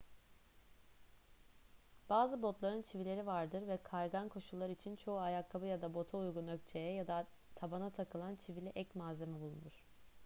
bazı botların çivileri vardır ve kaygan koşullar için çoğu ayakkabı ya da bota uygun ökçeye ya da tabana takılan çivili ek malzeme bulunur